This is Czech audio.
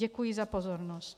Děkuji za pozornost.